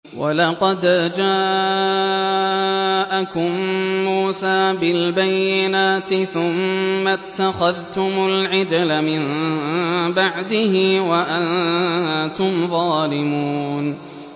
۞ وَلَقَدْ جَاءَكُم مُّوسَىٰ بِالْبَيِّنَاتِ ثُمَّ اتَّخَذْتُمُ الْعِجْلَ مِن بَعْدِهِ وَأَنتُمْ ظَالِمُونَ